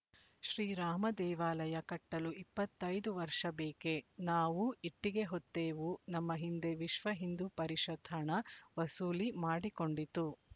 ಶ್ರೀರಾಮದೇವಾಲಯ ಕಟ್ಟಲು ಇಪ್ಪತ್ತ್ ಐದು ವರ್ಷ ಬೇಕೆ ನಾವೂ ಇಟ್ಟಿಗೆ ಹೊತ್ತೆವು ನಮ್ಮ ಹಿಂದೆ ವಿಶ್ವ ಹಿಂದೂ ಪರಿಷತ್ ಹಣ ವಸೂಲಿ ಮಾಡಿಕೊಂಡಿತು